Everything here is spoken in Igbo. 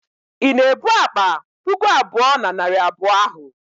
ị na-ebu akpa puku abụọ na narị abụọ ahụ?